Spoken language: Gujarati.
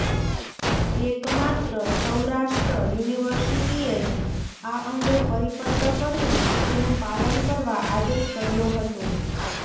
એકમાત્ર સૌરાષ્ટ્ર યુનિવર્સિટીએ જ આ અંગે પરિપત્ર કરીને તેનું પાલન કરવા આદેશ કર્યો હતો